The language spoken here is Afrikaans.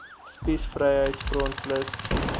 spies vryheids front plus